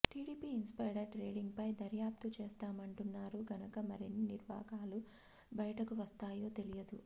TDP insider trading పై దర్యాప్తు చేస్తామంటున్నారు గనక మరెన్ని నిర్వాకాలు బయటకు వస్తాయో తెలియదు